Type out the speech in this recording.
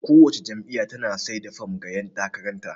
Kowace jam'iyya tana sai da fom ga ƴan takarar ta.